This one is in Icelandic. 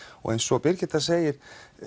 og eins og Birgitta segir